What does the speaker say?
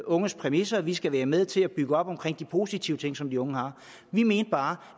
unges præmisser vi skal være med til at bygge det op omkring de positive ting som de unge har vi mente bare